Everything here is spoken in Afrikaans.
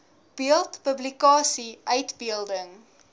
beeld publikasie uitbeelding